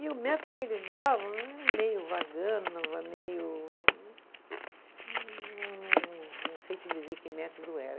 E o método que eles davam era meio vagando, meio Não sei te dizer que método era.